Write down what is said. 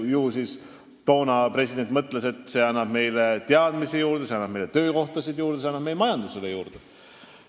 Ju president toona mõtles, et see annab meile teadmisi juurde, see annab meile töökohtasid juurde, see annab meie majandusele juurde.